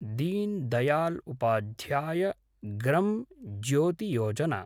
din Dayal Upadhyaya Gram Jyoti Yojana